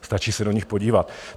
Stačí se do nich podívat.